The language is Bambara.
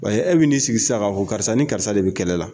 Wa e bɛ n'i sigi sisan k'a fo karisa ni karisa de bɛ kɛlɛ la.